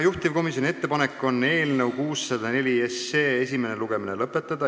Juhtivkomisjoni ettepanek on eelnõu 604 esimene lugemine lõpetada.